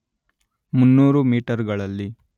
ಮುನ್ನೂರು ಮೀಟರ್‌ಗಳಲ್ಲಿ